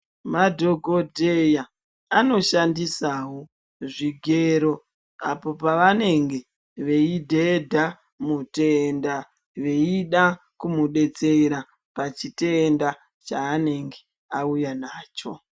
Madhokodheya anoshandisawo zvigero apo pavanenge veyidhedha mutenda veyuda kumubetsera pachitenda chaanenge auya nacho.